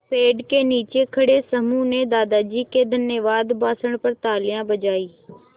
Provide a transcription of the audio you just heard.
पेड़ के नीचे खड़े समूह ने दादाजी के धन्यवाद भाषण पर तालियाँ बजाईं